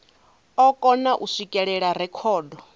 o kona u swikelela rekhodo